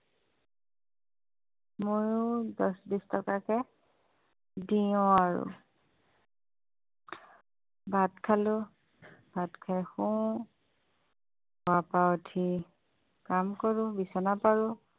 মইয়ো দচ টকা বিছ টকাকে দিয়ো আৰু ভাত খালোঁ ভাত খাই শু শুৱাৰ পৰা উঠি কাম কৰোঁ বিচনা পাৰোঁ